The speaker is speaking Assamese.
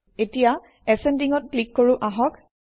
এতিয়া Ascending অত ক্লিক কৰোঁ আহক